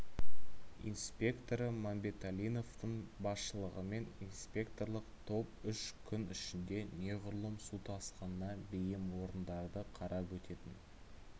инспекторы мамбеталиновтың басшылығымен инспекторлық топ үш күн ішінде неғұрлым су тасқынына бейім орындарды қарап өтетін